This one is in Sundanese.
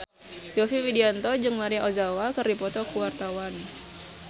Yovie Widianto jeung Maria Ozawa keur dipoto ku wartawan